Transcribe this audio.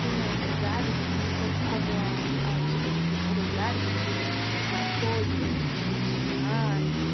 Tem mais lugares, assim, como como a a antiga rodovi rodoviária, que te marcou de não não existir mais?